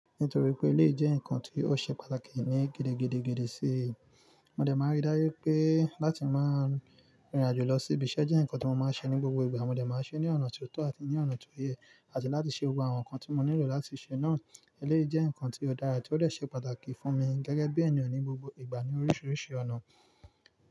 Nítorí pé elé yi jẹ́ ǹkan tí ó ṣe pàtàkì ní gidi gidigidi sí i, mo dẹ̀ máa rí dájú wipé láti máa rìn irìn àjò lọ sí ibiṣẹ́ jẹ́ ǹkan tí mo máa ń ṣe ní gbogbo ìgbà, mo dẹ̀ máa ṣe é ní ọ̀nà tió tọ́ àti ní ọ̀nà tó yẹ, àti láti ṣe gbogbo àwọn nǹkan tí mo nílò láti ṣe náà. Elé yi jẹ́ ǹkan tí ó dára, tí ó dè ṣe pàtàkì fún mi gẹ́gẹ́ bí ènìyàn ní gbogbo ìgbà ní oríṣiríṣi ọ̀nà.